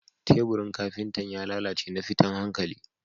Teburin Kafintan ya lallace na fitan hankalli